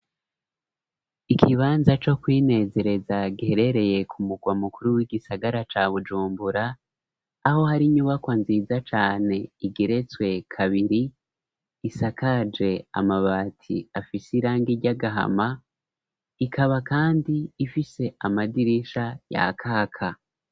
Ikibanza co kwinezereza giherereye ku murwa mukuru w'igisagara ca Bujumbura, aho hari inyubakwa nziza cane igeretswe kabiri, isakaje amabati afise irangi ry'agahama, ikaba kandi ifise amadirisha yakaka.